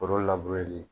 Foro li